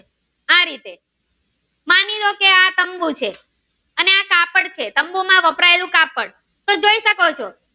તંબુ છે અને આ કાપડ છે તંબુ માં બવપરાયેલું કાપડ તમે જોઈ શકો છો.